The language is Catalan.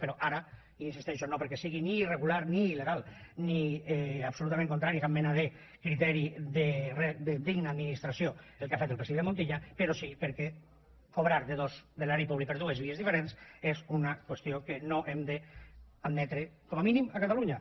però ara hi insisteixo no perquè sigui ni irregular ni il·legal ni absolutament contrari a cap mena de criteri de digna administració el que ha fet el president montilla però sí perquè cobrar de l’erari públic per dues vies diferents és una qüestió que no hem d’admetre com a mínim a catalunya